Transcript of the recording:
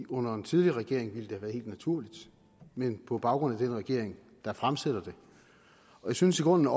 under den tidligere regering ville det have været helt naturligt men på grund af den regering der fremsætter det jeg synes i grunden